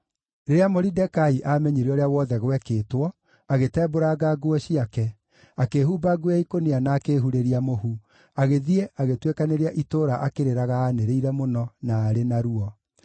Rĩrĩa Moridekai aamenyire ũrĩa wothe gwekĩtwo, agĩtembũranga nguo ciake, akĩĩhumba nguo ya ikũnia na akĩĩhurĩria mũhu, agĩthiĩ, agĩtuĩkanĩria itũũra akĩrĩraga anĩrĩire mũno, na arĩ na ruo.